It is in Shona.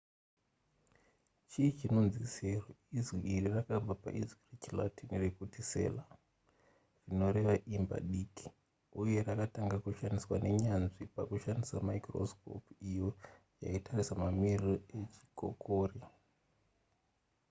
chii chinonzi sero izwi iri rinobva paizwi rechilatin rekuti cella rinoreva imba diki uye rakatanga kushandiswa nenyanzvi pakushandisa maikorosikopu iyo yaitarisa mamiriro echikokore